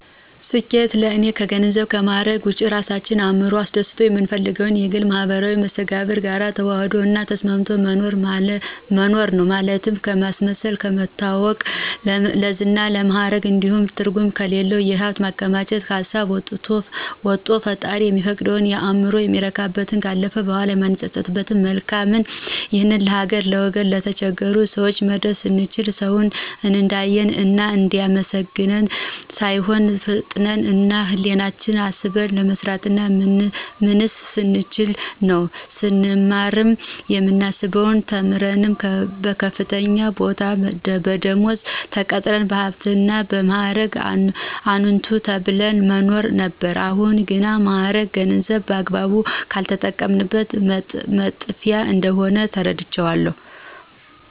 ስኬት ለእኔ ከገንዘብና ከማዕረግ ውጭ የራሳችን እዕምሮ አስደስቶ የምንፈልገውን የግልና የማህበራዊ መስተጋብር ጋር ተዋህዶ እና ተስማምቶ መኖር ነው። ማለትም ከማስመሰል፣ ለመታወቅ፣ ለዝና፣ ለማዕረግ እንዲሁም ትርጉም ከሌለው የሀብት ማከማቸት ሀሳብ ወቶ ፈጣሪ የሚፈቅደውን፣ እዕምሮአችን የሚረካበትን፣ ካለፈ በኋላ የማንጸጸትበትን መልካም ይህን ለሀገር፣ ለወገን፣ ለተቸገሩ ሰወች መድረስ ስንችል፣ ሰውን እንዲአየን እና እንዲአመሰግነን ሳይሆን ፍጥረት እና ህሌናችን አስበን መስራትና ምንስ ስንችል ነው። ስንማር የምናስበው ተምረን በከፍተኛ ቦታና ደመወዝ ተቀጥረን በሀብትና እና በማዕረግ አንቱ ተብለን መኖር ነበር አሁን ግን ማዕረግም ገንዘብም በአግባቡ ካልተጠቀምንበት መጥፊያ እንደሆነ ተረድቻለሁ።